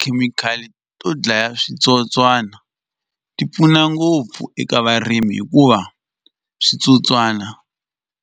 Tikhemikhali to dlaya switsotswana ti pfuna ngopfu eka varimi hikuva switsotswana